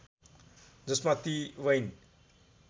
जसमा ती वैन